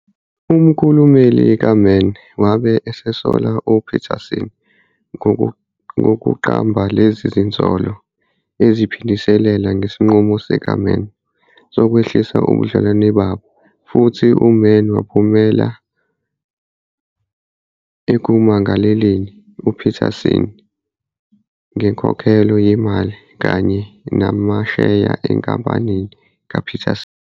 Umkhulumeli kaMann wabe esesola uPeterson ngokuqamba lezi zinsolo eziphindiselela ngesinqumo sikaMann sokwehlisa ubudlelwano babo, futhi uMann waphumelela ekumangaleleni uPeterson ngenkokhelo yemali kanye namasheya enkampanini kaPeterson.